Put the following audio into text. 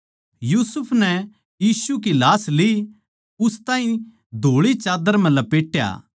यूसुफ नै यीशु की लाश ली उस ताहीं धोळी चाद्दर म्ह लपेट्या